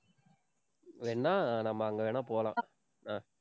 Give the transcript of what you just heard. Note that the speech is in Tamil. வேணும்னா நம்ம அங்க வேணா போலாம்.